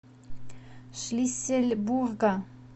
шлиссельбурга